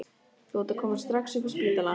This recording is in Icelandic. Þú átt að koma strax upp á spítala!